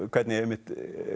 hvernig einmitt